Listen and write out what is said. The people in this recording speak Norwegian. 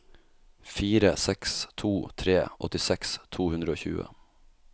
fire seks to tre åttiseks to hundre og tjue